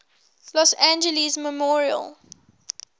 los angeles memorial